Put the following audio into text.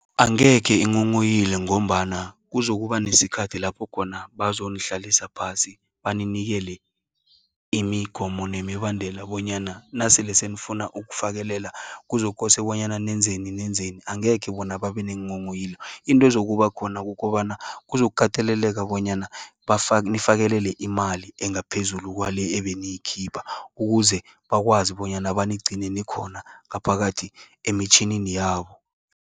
Angekhe inghonghoyile, ngombana kuzokuba nesikhathi lapho khona, bazonihlalisa phasi. Baninikele imigomo, nemibandela bonyana nasele senifuna ukufakelela kuzokose bonyana nenzeni, nenzeni. Angekhe bona babe neenghonghoyilo. Into ezokuba khona kukobana, kuzokateleleka bonyana bafa nifakelele imali engaphezulu kwale ebeniyikhipha. Ukuze bakwazi bonyana, banigcine nikhona ngaphakathi emtjhinini yabo.